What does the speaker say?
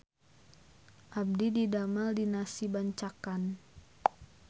Abdi didamel di Nasi Bancakan